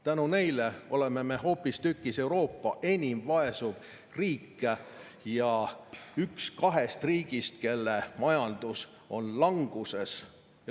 Tänu neile oleme me hoopistükkis Euroopa enim vaesuv riik ja üks kahest riigist, kelle majandus on languses.